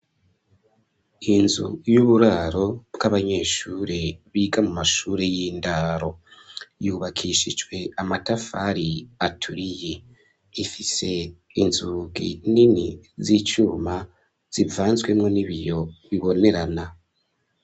Inzu y'uburaro bw'abanyeshure biga mu mashure y'indaro, yubakishijwe amatafari aturiye, ifise inzugi nini z'icuma zivanzwemwo n'ibiyo bibonerana.